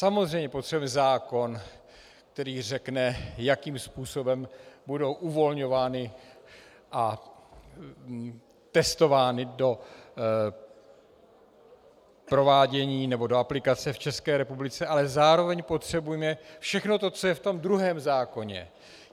Samozřejmě potřebujeme zákon, který řekne, jakým způsobem budou uvolňovány a testovány do provádění nebo do aplikace v České republice, ale zároveň potřebujeme všechno to, co je v tom druhém zákoně.